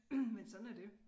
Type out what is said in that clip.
Men sådan er det